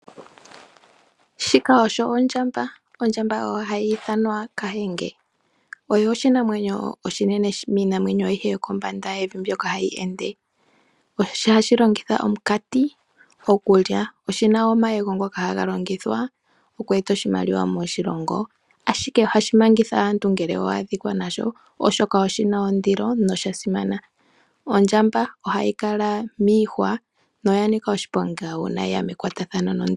Shika osho ondjamba. Ondjamba ohayi ithanwa kahenge. Ooshinamwenyo oshinenene miinamwenyo ayihe yokombanda yevi mbyoka hayi ende. Ohashi longitha omunkati okulya. Oshi na wo omayego ngoka haga longithwa oku eta oshimaliwa moshilongo, ashike ohashi mangitha omuntu ngele owa adhika nago, oshoka oge na ondilo noga simana. Ondjamba ohayi kala miihwa noya nika oshiponga uuna ye ya mekwatathano naantu.